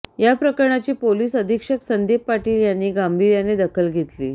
या प्रकरणाची पोलीस अधीक्षक संदीप पाटील यांनी गांभीर्याने दखल घेतली